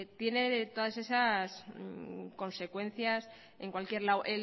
tiene todas esas consecuencias en cualquier lado